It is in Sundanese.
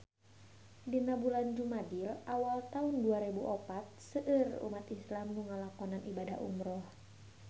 Dina bulan Jumadil awal taun dua rebu opat seueur umat islam nu ngalakonan ibadah umrah